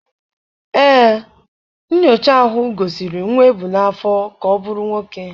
Ee, nyocha ahụ gosiri nwa ebu n'afọ ka ọ bụrụ nwoke